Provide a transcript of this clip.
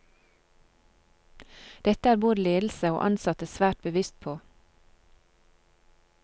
Dette er både ledelse og ansatte svært bevisst på.